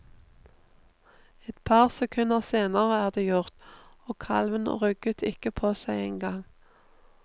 Et par sekunder senere er det gjort, og kalven rugget ikke på seg engang.